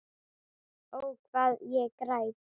Ó, hvað ég græt.